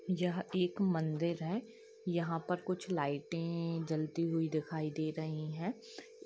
यह एक मंदिर है यहाँ पर कुछ लाइटें-टे जलती हुई दिखाई दे रही है।